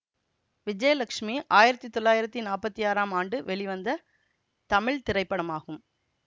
விஜயலட்சுமி ஆயிரத்தி தொள்ளாயிரத்தி நாப்பத்தி ஆறாம் ஆண்டு வெளிவந்த தமிழ் திரைப்படமாகும்